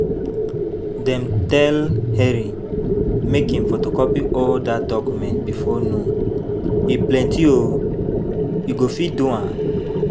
Dem tell Henry make im photocopy all dat documents before noon, e plenty o. E go fit do am?